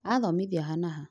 Athomithia ha na ha ?